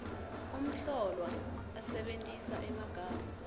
umhlolwa asebentisa emagama